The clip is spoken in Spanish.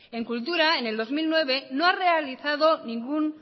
en cultura en el dos mil nueve no ha realizado ningún